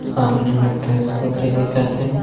सामने मे एक ठो स्कूटी दिखत हे।